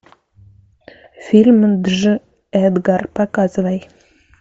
фильм дж эдгар показывай